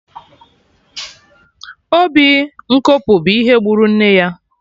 Obi nkopu bụ ihe gburu nne ya